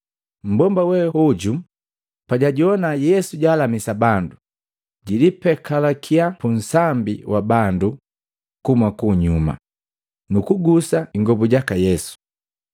Mmbomba we hoju pajajoana Yesu jalamisa bandu, jilipekalakiya pu nsambi wa bandu kuhuma kunyuma, nukugusa ingobu jaka Yesu.